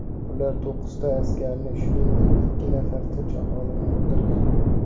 Ular to‘qqizta askarni, shuningdek, ikki nafar tinch aholini o‘ldirgan.